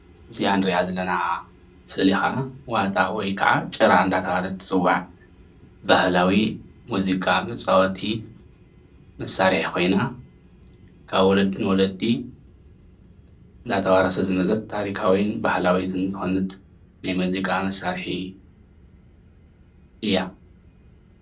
እዚኣ እንሪኣ ዘለና ስእሊ ከዓ ዋጣ ወይከዓ ጭራ እናተባሃለት ትፅዋዕ ባህላዊ ሙዚቃ መፃወቲ መሳርሒ ኮይና ካብ ወለዲ ናብ ወለዲ እናተዋረሰት ዝመፀት ታሪካዊትን ባህላዊትን ዝኮነት ናይ ሙዚቃ መሳርሒ እያ፡፡